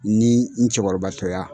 Ni n cɛkɔrɔbatɔya.